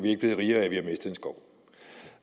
ikke blevet rigere af at vi har mistet en skov